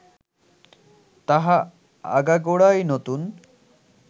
তাহা আগাগোড়াই নতুন